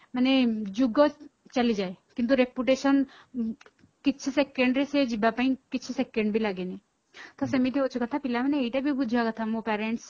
ମାନେ ଯୂଗ ଚାଲିଯାଏ କିନ୍ତୁ reputation କିଛି second ରେ ସେ ଯିବା ପାଇଁ କିଛି second ବି ଲାଗେନି ତ ସେମିତି ଅଛି କଥା ପିଲାମାନେ ଏଇଟା ବି ବୁଝିବା କଥା ମୋ parents